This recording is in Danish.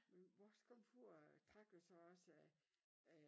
Men vores komfur øh trak jo så også øh øh